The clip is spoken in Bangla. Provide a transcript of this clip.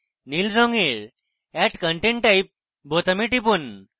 নীল রঙের add content type বোতামে টিপুন